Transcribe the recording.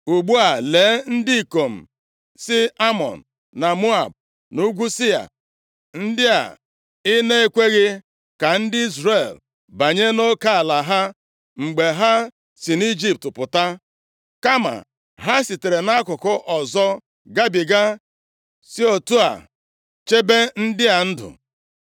“Ugbu a lee, ndị ikom si Amọn, na Moab, na nʼugwu Sia, ndị ị na-ekweghị ka ndị Izrel banye nʼoke ala ha mgbe ha si nʼIjipt pụta, kama ha sitere nʼakụkụ ọzọ gabiga si otu a chebe ndị a ndụ.